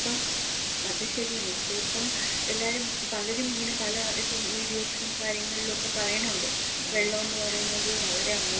ഇപ്പം, ഇപ്പയിപ്പം, അത് ശരിയാണ്, ഇപ്പയിപ്പം എല്ലാരും ഇങ്ങനെ പലരും പല ഇതും വീഡിയോസിലും കാര്യങ്ങളിലൊക്കെ പറയണൊണ്ട്, വെള്ളെന്നത് വളരെ അമൂല്യാണ്.